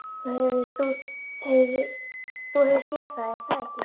Þú hefur séð það er það ekki?